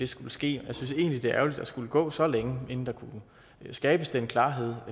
skulle ske og jeg synes egentlig det er ærgerligt at der skulle gå så længe inden der kunne skabes den klarhed